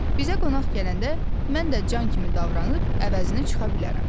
Bizə qonaq gələndə mən də can kimi davranıb əvəzini çıxa bilərəm.